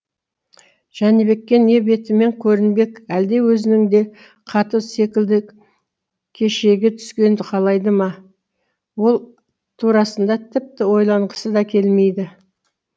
жәнібекке не бетімен көрінбек әлде өзінің де хаты секілді кешеге түскен қалайды ма ол турасында тіпті ойланғысы да келмейді